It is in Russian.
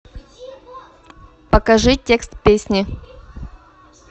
покажи текст песни